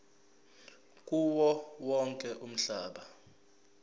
kuwo wonke umhlaba